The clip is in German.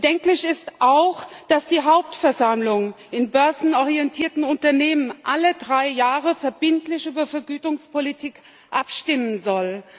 Bedenklich ist auch, dass die Hauptversammlung in börsennotierten Unternehmen alle drei Jahre verbindlich über Vergütungspolitik abstimmen soll.